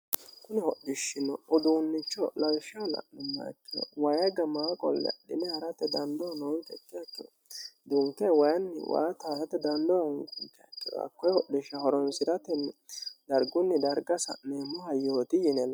kune hodhishshinni uduunnicho lawishshaho la'nummoha ikkiro wayigamaa qolle adhine ha'ratte dandoo hoogguha ikkiro dunke wayinni waa taasate dandoo hooggunkeha ikkiroe hakkooye hodhishsha horonsi'rate dargunni darga sa'meemmohayooti yineemmo